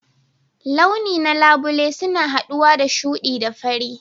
Launi na labule suna haɗuwa da shuɗi da fari.